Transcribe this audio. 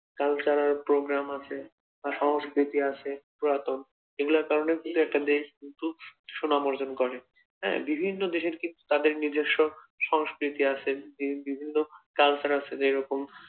cultural program আছে আর সংস্কৃতি আছে পুরাতন, এগুলোর কারণে কিন্তু একটা দেশ সুনাম অর্জন করে, হ্যাঁ বিভিন্ন দেশের কিন্তু তাদের নিজস্ব সংস্কৃতি আছে যে বিভিন্ন culture আছে যেরকম